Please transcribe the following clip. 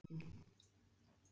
Gauti